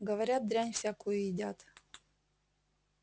говорят дрянь всякую едят